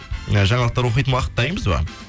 і жаңалықтар оқитын уақыт дайынбыз ба